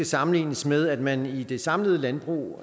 sammenlignes med at man i det samlede landbrug